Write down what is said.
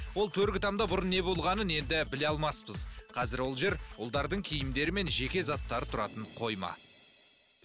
ол төргі тамда бұрын не болғанын енді біле алмаспыз қазір ол жер ұлдардың киімдері мен жеке заттары тұратын қойма